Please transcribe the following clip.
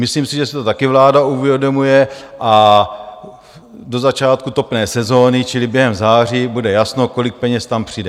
Myslím si, že si to také vláda uvědomuje a do začátku topné sezóny čili během září bude jasno, kolik peněz tam přijde.